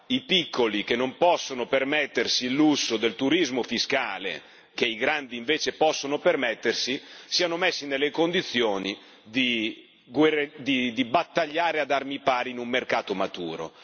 i piccoli che non possono permettersi il lusso del turismo fiscale, che i grandi invece possono permettersi, siano messi nelle condizioni di battagliare ad armi pari in un mercato maturo.